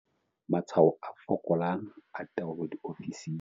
Matshwao a fokolang a taolo diofising.